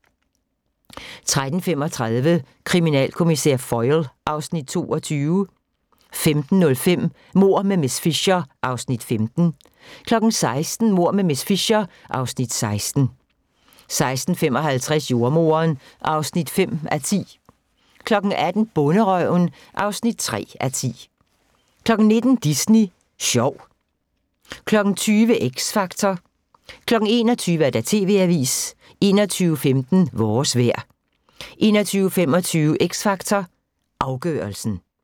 13:35: Kriminalkommissær Foyle (Afs. 22) 15:05: Mord med miss Fisher (Afs. 15) 16:00: Mord med miss Fisher (Afs. 16) 16:55: Jordemoderen (5:10) 18:00: Bonderøven (3:10) 19:00: Disney Sjov 20:00: X Factor 21:00: TV-avisen 21:15: Vores vejr 21:25: X Factor Afgørelsen